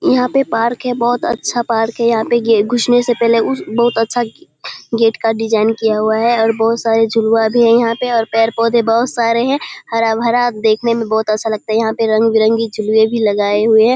यहाँ पे पार्क है। बहुत अच्छा पार्क है। यहाँ पे गे घुसने से पहले उस बहुत अच्छा गेट का डिज़ाइन किया हुआ है और बहुत सारे झुलवा भी हैं यहाँ पे और पेड़-पौधे बहुत सारे हैं हरा-भरा देखने में बहुत अच्छा लगता है। यहाँ पे रंग बिरंगे झुलुए भी लगाए हुए हैं।